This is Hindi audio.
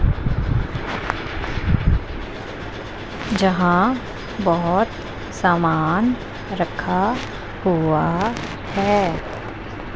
जहां बहोत सामान रखा हुआ है।